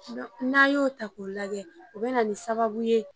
N'a y'o ta k'o lajɛ, o bɛ na nin sababu ye.